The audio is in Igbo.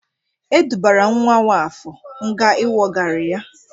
E dubara nwa Nwafọr nga inwogari ya.